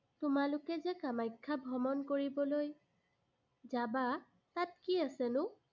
তোমালোকে যে কামাখ্যা ভ্ৰমণ কৰিবলৈ যাবা, তাত কি আছেনো?